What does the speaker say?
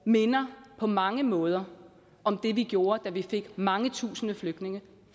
minder på mange måder om det vi gjorde da vi fik mange tusinde flygtninge